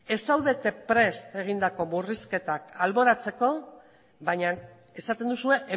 ez zaudete prest egindako murrizketak alboratzeko baina esaten duzue